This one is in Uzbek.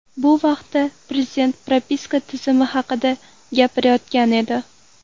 Bu vaqtda Prezident propiska tizimi haqida gapirayotgan edi.